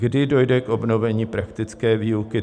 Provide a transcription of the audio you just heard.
Kdy dojde k obnovení praktické výuky?